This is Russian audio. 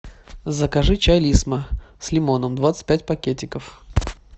закажи чай лисма с лимоном двадцать пять пакетиков